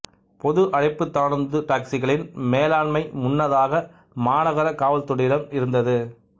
பொது அழைப்புத் தானுந்து டாக்சிகளின் மேலாண்மை முன்னதாக மாநகர காவல்துறையிடம் இருந்தது